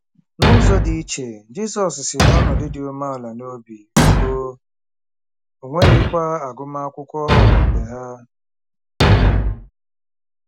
N'ụzọ dị iche, Jizọs si n'ọnọdụ dị umeala n'obi, o nweghịkwa agụmakwụkwọ okpukpe ha.